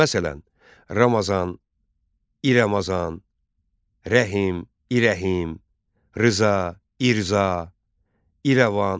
Məsələn: Ramazan, İ Ramazan, Rəhim, İ Rəhim, Rza, İ Rza, İrəvan.